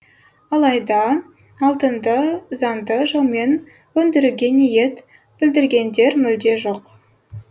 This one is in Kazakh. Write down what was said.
алайда алтынды заңды жолмен өндіруге ниет білдіргендер мүлде жоқ